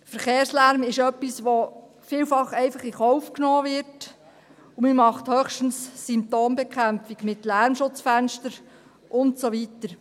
Verkehrslärm ist etwas, das vielfach einfach in Kauf genommen wird, und man macht höchstens Symptombekämpfung, mit Lärmschutzfenstern und so weiter.